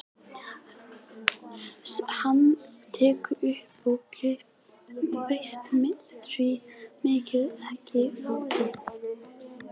Hann tekur upp glerbrot og veltir því milli handanna, óþolinmóður.